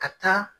Ka taa